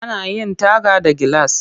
Ana yin taga da gilas